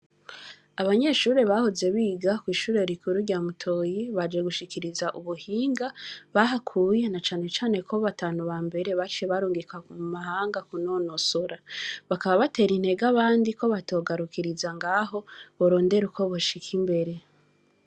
Abanyeshure bahoze biga kw'ishure rikuru rya mutoyi baje gushikiriza ubuhinga bahakuye na cane cane ko batanu bambere baciye barungikwa mu mahanga kunonosora, bakaba batera intege abandi ko batogarukiriza ngaho borondera ukwoboshika imbere.